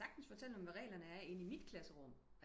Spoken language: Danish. Jeg kan sagtens fortælle dem hvad regler er inde i mit klasserum